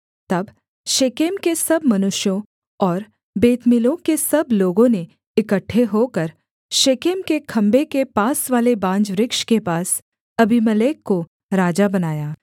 तब शेकेम के सब मनुष्यों और बेतमिल्लो के सब लोगों ने इकट्ठे होकर शेकेम के खम्भे के पासवाले बांज वृक्ष के पास अबीमेलेक को राजा बनाया